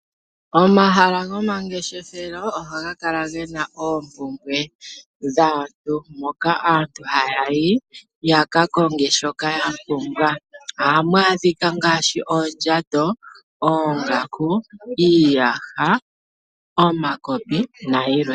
Omahala gomangeshefelo ohaga kala ge na oompumbwe dhaantu, moka aantu haya yi ya ka konge shoka ya pumbwa. Ohamu adhika ngaashi oondjato, oongaku, iiyaha, omakopi nayilwe.